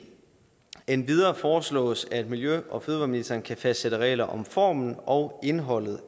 endvidere foreslås det at miljø og fødevareministeren kan fastsætte regler om formen af og indholdet